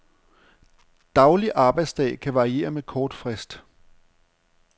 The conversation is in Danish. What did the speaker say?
Daglig arbejdsdag kan varieres med kort frist.